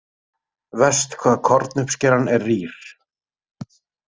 Verst hvað kornuppskeran er rýr.